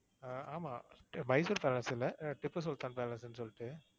ஆஹ் ஆமா மைசூர் பேலஸ் இல்ல. திப்பு சுல்தான் பேலஸுன்னு சொல்லிட்டு,